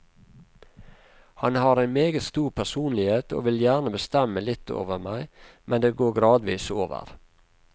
Han har en meget stor personlighet, og vil gjerne bestemme litt over meg, men det går gradvis over.